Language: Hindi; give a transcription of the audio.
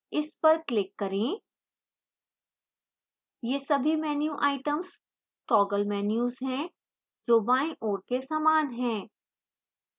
इस पर click करें ये सभी menu items toggle menus हैं जो बायीं ओर के समान हैं